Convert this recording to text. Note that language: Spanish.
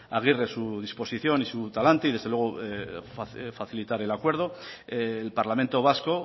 aguirre su disposición y su talante desde luego facilitar el acuerdo el parlamento vasco